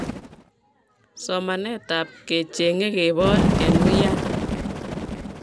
somanetab kechengee keboor eng wian